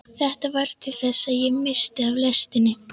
Þetta varð til þess að ég missti af lestinni.